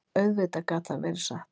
Auðvitað gat það verið satt.